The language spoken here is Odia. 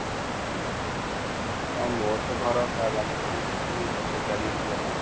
ହଁ ମୋର ତ ଘର ବାଲେଶ୍ବର ଠୁ ସେଠି ୪ ଘଣ୍ଟା ଲାଗିବ|